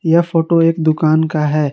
यह फोटो एक दुकान का है।